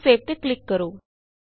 ਹੁਣ ਸੇਵ ਤੇ ਕਲਿਕ ਕਰੋ